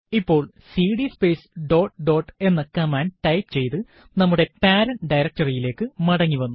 ഇപ്പോൾ CD space dot dot എന്ന command type ചെയ്ത് നമ്മുടെ പേരന്റ് directory യിലേക്ക് മടങ്ങിവന്നു